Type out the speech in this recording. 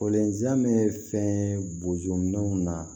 bɛ fɛn bozo minɛnw na